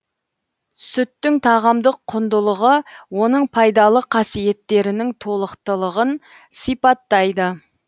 сүттің тағамдық құндылығы оның пайдалы қасиеттерінің толықтылығын сипаттайды